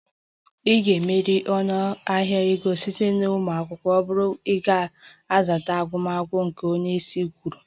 A ga-emeri ọnụahịa ego site na ụmụ akwụkwọ ọ bụla ga-azata gwam gwam gwam nke onye isi gwara